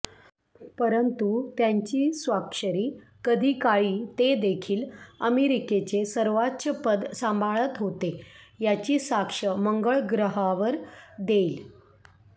परंतु त्यांची स्वाक्षरी कधीकाळी ते देखील अमेरिकेचे सर्वोच्चपद सांभाळत होते याची साक्ष मंगळ ग्रहावर देईल